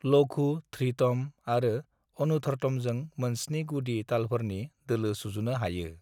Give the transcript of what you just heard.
"लघु, धृतम आरो अनुधर्तमजों मोनस्नि गुदि तालफोरनि दोलो सुजुनो हायो।"